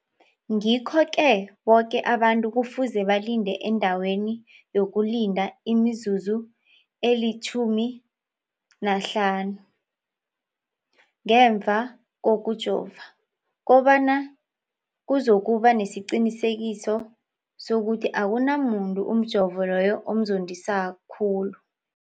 Ngikho-ke boke abantu kufuze balinde endaweni yokulinda imizuzu eli-15 ngemva kokujova, koba nyana kuzokuba nesiqiniseko sokuthi akunamuntu umjovo loyo omzondisa khulu.